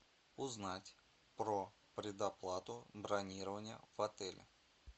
узнать про предоплату бронирования в отеле